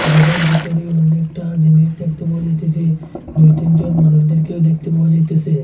গরের ভিতরে অনেকটা জিনিস দেখতে পাওয়া যাইতেসে দুইতিনজন মানুষদেরকেও দেখতে পাওয়া যাইতেসে।